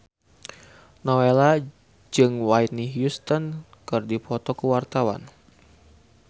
Nowela jeung Whitney Houston keur dipoto ku wartawan